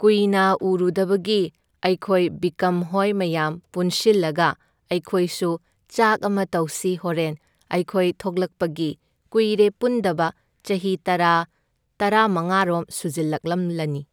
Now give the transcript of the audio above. ꯀꯨꯏꯅ ꯎꯔꯨꯗꯕꯒꯤ ꯑꯩꯈꯣꯏ ꯕꯤꯀꯝꯍꯣꯏ ꯃꯌꯥꯝ ꯄꯨꯟꯁꯤꯜꯂꯒ ꯑꯩꯈꯣꯏꯁꯨ ꯆꯥꯛ ꯑꯃ ꯇꯧꯁꯤ ꯍꯣꯔꯦꯟ, ꯑꯩꯈꯣꯏ ꯊꯣꯛꯂꯛꯄꯒꯤ ꯀꯨꯏꯔꯦ ꯄꯨꯟꯗꯕ ꯆꯍꯤ ꯇꯔꯥ ꯇꯔꯥꯡꯃꯉꯥꯔꯣꯝ ꯁꯨꯖꯤꯜꯂꯛꯂꯝꯂꯅꯤ꯫